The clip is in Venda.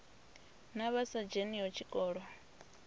na vha sa dzheniho tshikolo